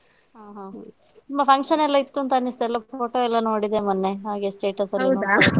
ಹಾ ಹಾ ತುಂಬಾ function ಎಲ್ಲ ಇತ್ತು ಅಂತ ಅನ್ನಿಸ್ತದೆ ತುಂಬಾ photo ಎಲ್ಲ ನೋಡಿದೆ ಮೊನ್ನೆ ಹಾಗೆ status ಎಲ್ಲ ನೋಡಿದೆ .